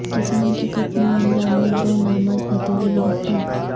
کسان کے قتل معاملہ میں دو نامزد بھتیجے گرفتار